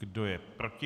Kdo je proti?